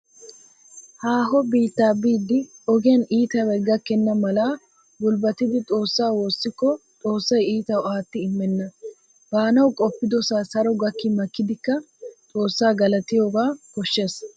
Haaho biittaa biiddi ogiyaan iitabay gakkenna mala gulbbatidi Xoossaa woossikko Xoossay iitawu aatti immenna. Baanawu qoppidosaa saro gakki makkidikka Xoossaa galatiyogaa koshshees.